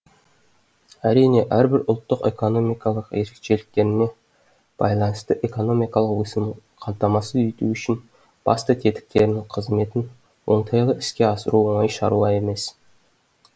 әрине әрбір ұлттық экономикалық ерекшеліктеріне байланысты экономикалық өсуін қамтамасыз ету үшін басты тетіктерінің қызметін оңтайлы іске асыру оңай шаруа емес